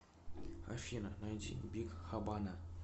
афина найди биг хабана